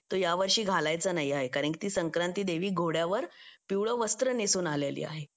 तो यावर्षी घालायचा नाही आहे कारण की ती संक्रांती देवी घोड्यावर पिवळं वस्त्र नेसून आलेली आहे